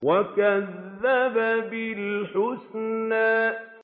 وَكَذَّبَ بِالْحُسْنَىٰ